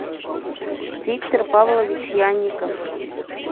виктор павлович янников